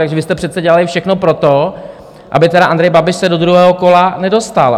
Takže vy jste přece dělali všechno pro to, aby tedy Andrej Babiš se do druhého kola nedostal.